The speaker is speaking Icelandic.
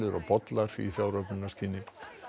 og bollar í fjáröflunarskyni